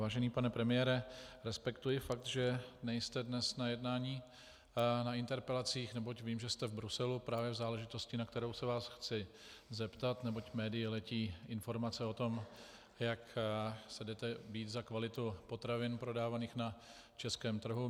Vážený pane premiére, respektuji fakt, že nejste dnes na jednání na interpelacích, neboť vím, že jste v Bruselu právě v záležitosti, na kterou se vás chci zeptat, neboť médii letí informace o tom, jak se jdete bít za kvalitu potravin prodávaných na českém trhu.